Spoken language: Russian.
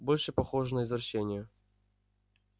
больше похоже на извращение